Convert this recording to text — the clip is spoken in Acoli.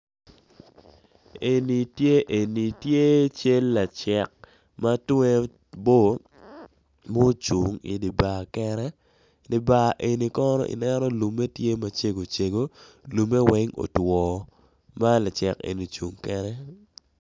Eni tye cel lacik matwer bo ma ocung idi bar kene idi bar eni kono ineno lumme tye macego cego lumme weng otwo malacik eni ocung kede.